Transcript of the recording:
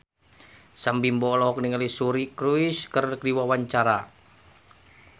Sam Bimbo olohok ningali Suri Cruise keur diwawancara